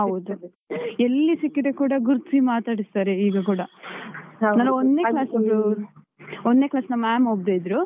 ಎಲ್ಲಿ ಸಿಕ್ಕಿದ್ರೆ ಕೂಡ ಗುರ್ತಿಸಿ ಮಾತಾಡಿಸ್ತಾರೆ ಈಗ ಕೂಡ. ನನ್ನ ಒಂದ್ನೆ class ಇದ್ದು ಒಂದ್ನೆ class ನ ma’am ಒಬ್ರು ಇದ್ರು.